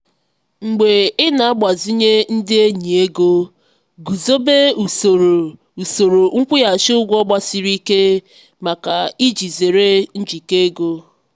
mgbe ị na-agbazinye ndị enyi ego guzobe usoro usoro nkwụghachi ụgwọ gbasiri ike maka iji zere njikọ ego.